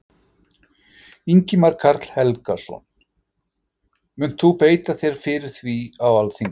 Ingimar Karl Helgason: Munt þú beita þér fyrir því á Alþingi?